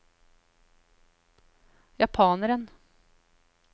japaneren